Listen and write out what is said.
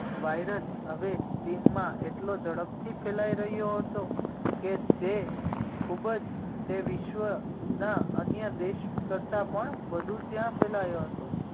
virus હવે ચિનમાં એટલો ઝડપથી ફેલાઈ રહ્યો હતો કે જે ખૂબ જ તે વિશ્વના અન્ય દેશ કરતા પણ વધુ ત્યાં ફેલાયો હતો